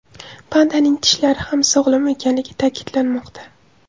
Pandaning tishlari ham sog‘lom ekanligi ta’kidlanmoqda.